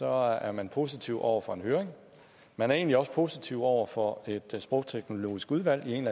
er man positiv over for en høring man er egentlig også positiv over for et sprogteknologisk udvalg i en